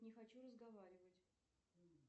не хочу разговаривать